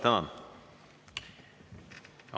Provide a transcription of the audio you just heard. Tänan!